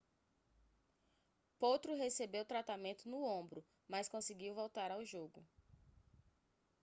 potro recebeu tratamento no ombro mas conseguiu voltar ao jogo